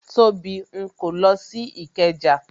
Tóbi ń kó lọ sí ikeja